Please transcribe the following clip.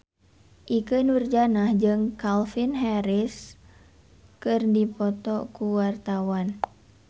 Ikke Nurjanah jeung Calvin Harris keur dipoto ku wartawan